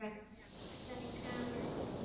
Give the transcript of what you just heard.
Félli hann í kramið hér?